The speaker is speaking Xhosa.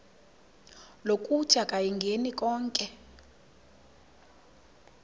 lokuthi akayingeni konke